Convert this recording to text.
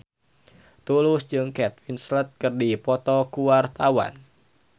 Tulus jeung Kate Winslet keur dipoto ku wartawan